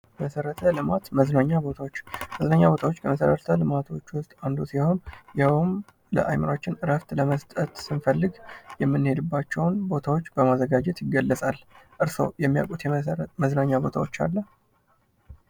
መሰረተ ልማት ። መዝናኛ ቦታዎች ፡ መዝናኛ ቦታዎች ከመሰረተ ልማቶች ውስጥ አንዱ ሲሆን ይህውም ለአይምሯችን እረፍት ለመስጠት ስንፈልግ የምንሄድባቸውን ቦታዎች በማዘጋጀት ይገለፃል። እርሶ የሚያውቁት የመሰረት መዝናኛ ቦታዎች አለ?